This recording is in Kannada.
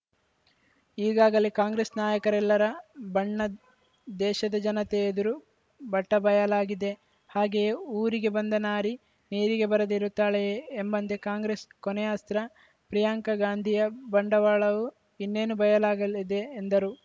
ಈಗಾಗಲೇ ಕಾಂಗ್ರೆಸ್‌ ನಾಯಕರೆಲ್ಲರ ಬಣ್ಣ ದೇಶದ ಜನತೆ ಎದುರು ಬಟಾಬಯಲಾಗಿದೆ ಹಾಗೆಯೇ ಊರಿಗೆ ಬಂದ ನಾರಿ ನೀರಿಗೆ ಬರದೆ ಇರುತ್ತಾಳೆಯೇ ಎಂಬಂತೆ ಕಾಂಗ್ರೆಸ್‌ ಕೊನೆಯ ಅಸ್ತ್ರ ಪ್ರಿಯಾಂಕಾ ಗಾಂಧಿಯ ಬಂಡವಾಳವೂ ಇನ್ನೇನು ಬಯಲಾಗಲಿದೆ ಎಂದರು